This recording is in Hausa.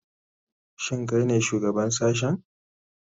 Shin kai ne shugaban sashen?